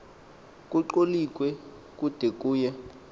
kucholiwe kude kuye